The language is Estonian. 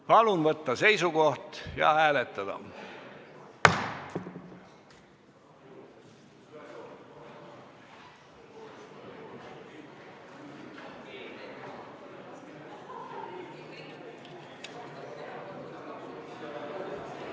Palun võtta seisukoht ja hääletada!